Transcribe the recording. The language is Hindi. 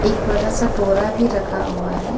बड़ा सा बोरा भी रखा हुआ है।